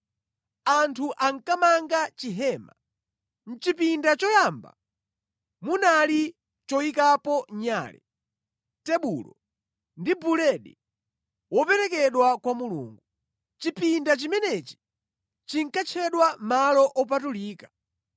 Anthu ankamanga chihema. Mʼchipinda choyamba munali choyikapo nyale, tebulo ndi buledi woperekedwa kwa Mulungu. Chipinda chimenechi chinkatchedwa Malo Opatulika.